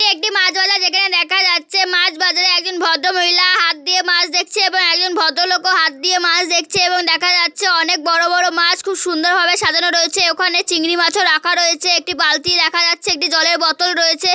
এটি একটি মাছ বাজার যেখানে দেখা যাচ্ছে মাছ বাজারে একজন ভদ্র মহিলা হাত দিয়ে মাছ দেখছে এবং একজন ভদ্র লোকও হাত দিয়ে মাছ দেখছে এবং দেখা যাচ্ছে অনেক বড় বড় মাছ খুব সুন্দর ভাবে সাজানো রয়েছে ওখানে চিংড়ি মাছও রাখা রয়েছে একটি বালতি দেখা যাচ্ছে একটি জলের বোতল রয়েছে।